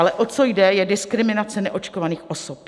Ale o co jde, je diskriminace neočkovaných osob.